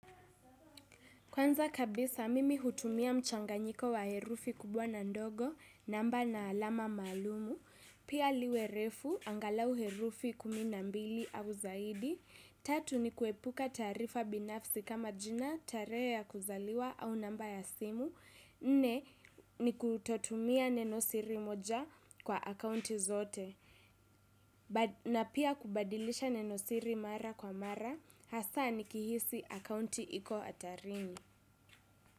Kwanza kabisa, mimi hutumia mchanganyiko wa herufi kubwa na ndogo namba na alama maalum, pia liwe refu angalau herufi kumi na mbili au zaidi. Tatu ni kuepuka taarifa binafsi kama jina, tarehe ya kuzaliwa au namba ya simu, nne ni kutotumia nenosiri moja kwa akaunti zote, na pia kubadilisha nenosiri mara kwa mara, hasa nikihisi akaunti iko hatarini.